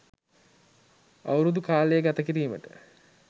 අවුරුදු කාලය ගත කිරීමට